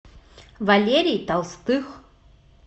валерий толстых